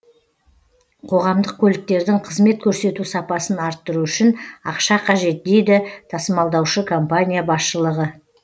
қоғамдық көліктердің қызмет көрсету сапасын арттыру үшін ақша қажет дейді тасымалдаушы компания басшылығы